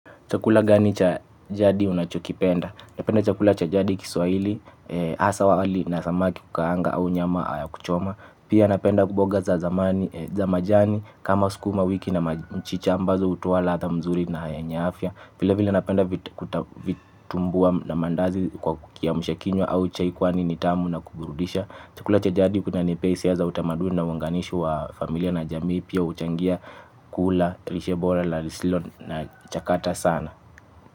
Chakula gani cha jadi unachokipenda? Napenda cha jadili kiswahili wali na samaki kukaanga au nyama ya kuchoma. Pia napenda kuboga za majani kama sukuma wiki na mchicha ambazo hutoa ladha mzuri na yenye afya. Vile vile napenda vitumbua na maandazi. Chukula cha jadi kinanipea hisia za utamaduni na uunganishi wa familia na jamii pia huchangia kula, lishe bora, la lisilo na chakata sana.